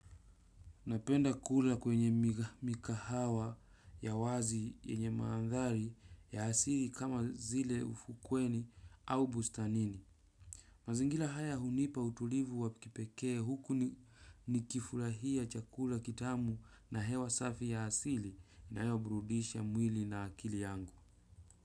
Napenda kula kwenye mikahawa ya wazi yenye mandhari ya asili kama vile ufukweni au bustanini. Mazingira haya hunipa utulivu wa kipekee huku nikifurahia chakula kitamu, na hewa safi ya asili, inayoburudisha mwili na akili yangu.